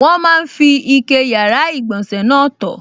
Wọ́n máa n fi ike yàrá-ìgbọ̀nsẹ̀ náà tọ̀